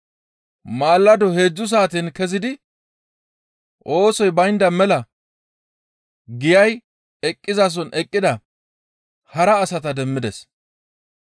«Maalado heedzdzu saaten kezidi oosoy baynda mela giyay eqqizason eqqida hara asata demmides.